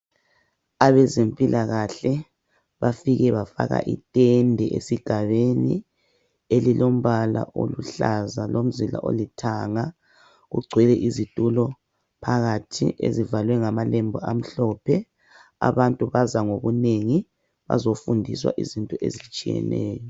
Abezempilakahle bafike bafaka itende esigabeni elilombala oluhlaza lomzila olithanga. Ugcwele izitulo phakathi ezivalwe ngamalembu amhlophe. Abantu baza ngobunengi bazofundiswa izinto ezitshiyeneyo.